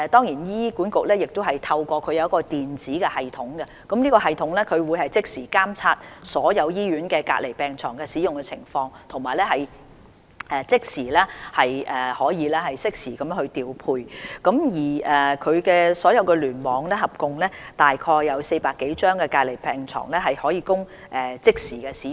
醫管局亦設有一個電子系統，可以即時監察所有醫院的隔離病床的使用情況，以及可以即時進行調配，而醫管局轄下所有聯網合共有約400多張隔離病床可供即時使用。